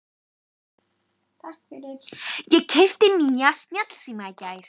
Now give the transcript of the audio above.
Ég keypti nýjan snjallsíma í gær.